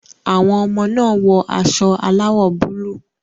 Àwọn ọmọ náà wọ aṣọ aláwọ̀ búlúù.